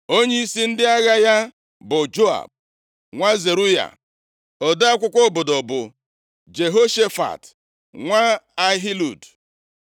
Onyeisi ndị agha ya bụ Joab + 8:16 Joab bụ nwa nwanne nwanyị Devid. nwa Zeruaya; ode akwụkwọ obodo bụ Jehoshafat, nwa Ahilud.